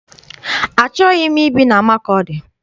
Achọghị m ibi na Makọdị.